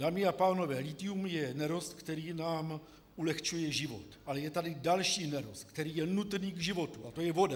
Dámy a pánové, lithium je nerost, který nám ulehčuje život, ale je tady další nerost, který je nutný k životu, a to je voda.